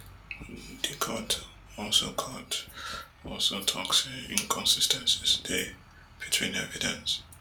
di court also court also tok say inconsis ten cies dey between evidence